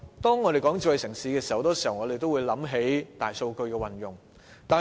當我們說到"智慧城市"，很多時候也會想到大數據的運用。